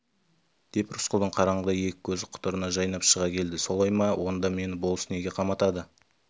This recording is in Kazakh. деп рысқұлдың қараңғыда екі көзі құтырына жайнап шыға келді солай ма онда мені болыс неге қаматады